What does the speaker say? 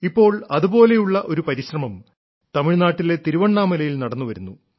ഇപ്പോൾ അതുപോലെയുള്ള ഒരു പരിശ്രമം തമിഴ്നാട്ടിലെ തിരുവണ്ണാമലയിൽ നടന്നുവരുന്നു